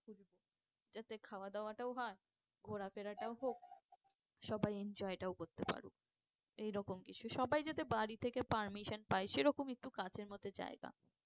যাতে খাওয়া দাওয়াটাও হয় ঘোড়া ফেরাটাও হোক সবাই enjoy টাও করতে পারুক। এই রকম কিছু সবাই যাতে বাড়ি থেকে permission পায় সেরকম একটু কাছের মধ্যে জায়গা